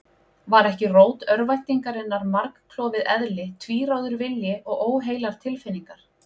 Var ekki rót örvæntingarinnar margklofið eðli, tvíráður vilji og óheilar tilfinningar?